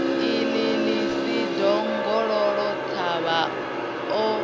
i ḽi ḽisi ḓongololothavha o